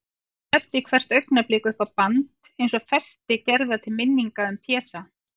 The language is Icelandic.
Þræddi hvert augnablik upp á band, eins og festi gerða til minningar um Pésa.